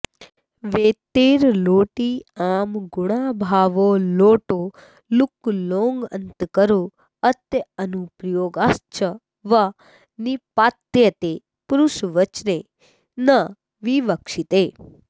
वेत्तेर्लोटि आम् गुणाभावो लोटो लुक् लोडन्तकरोत्यनुप्रयोगश्च वा निपात्यते पुरुषवचने न विवक्षिते